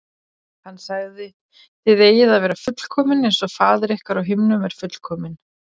Hann sagði: Þið eigið að vera fullkomin eins og faðir ykkar á himnum er fullkominn.